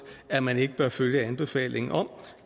at man ikke bør følge anbefalingen om